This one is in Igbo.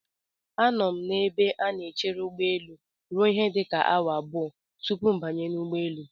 Anọ m n'ebe a na-echere ụgbọelu ruo ihe dịka awa abụọ tupu m banye n'ụgbọelu.